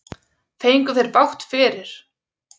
Fengu þeir bágt fyrir.